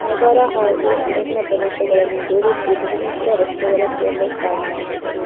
ನಗರ ಹಾಗು ಅರಣ್ಯ ಪ್ರದೇಶಗಳನ್ನು ಜೋಡಿಸಿ ಬಹು ಮುಖ್ಯ ರಸ್ತೆಗಳ ಕೇಂದ್ರ ಸ್ಥಾನವಾಗಿದೆ.